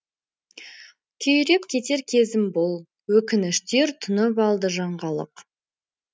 күйреп кетер кезім бұл өкініштер тұнып алды жанға лық